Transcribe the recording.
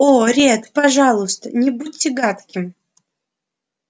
о ретт пожалуйста не будьте гадким